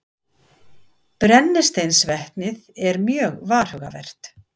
Brennisteinsvetnið er mjög varhugavert.